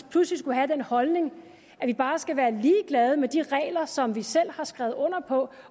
pludselig skulle have den holdning at vi bare skal være ligeglade med de regler som vi selv har skrevet under på